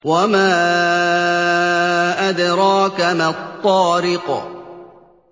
وَمَا أَدْرَاكَ مَا الطَّارِقُ